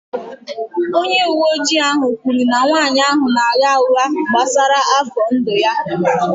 Onye uwe ojii ahụ kwuru na nwanyị ahụ na-agha ụgha gbasara afọ ndụ ya